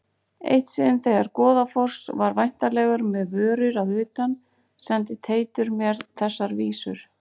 Eitt sinn þegar Goðafoss var væntanlegur með vörur að utan sendi Teitur mér þessar vísur